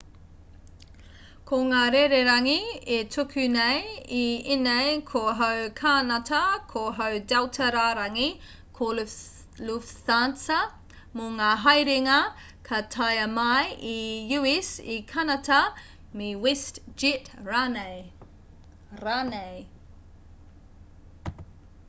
ko ngā rererangi e tuku nei i ēnei ko hau kānata ko hau delta rārangi ko lufthansa mō ngā haerenga ka taea mai i u.s i kānata me westjet rānei